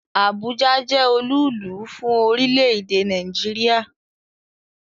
Abuja jẹ́ olúùlú fún orílẹ̀-èdè Nàìjíríà